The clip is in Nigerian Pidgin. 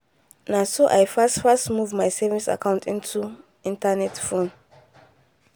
na so i fast fast move my savings account into internet phone